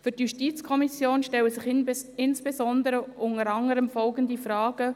Für die JuKo stellen sich insbesondere unter anderem folgende Fragen.